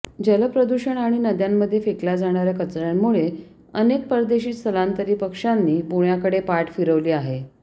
जलप्रदूषण आणि नद्यांमध्ये फेकल्या जाणाऱ्या कचऱ्यामुळे अनेक परदेशी स्थलांतरी पक्ष्यांनी पुण्याकडे पाठ फिरवली आहे